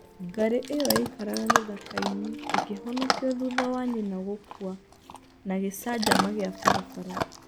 Ngarĩ ĩyo yaikaraga gĩthaka-ĩnĩ ĩkĩhonokio thutha wa nyina gũkua na gĩcanjama kĩa barabara.